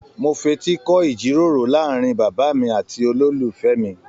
Mó f'eti kọ ijíròrò láàrin bàbá mí àti ololufẹ mí.